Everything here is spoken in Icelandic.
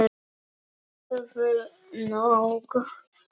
Það er nóg að gera.